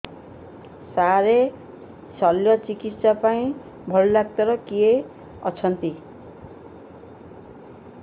ସାର ଶଲ୍ୟଚିକିତ୍ସା ପାଇଁ ଭଲ ଡକ୍ଟର କିଏ ଅଛନ୍ତି